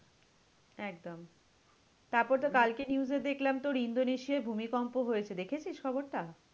একদম। তারপর তোর কালকে news এ দেখলাম তোর ইন্দোনেশিয়ায় ভূমিকম্প হয়েছে, দেখেছিস খবরটা?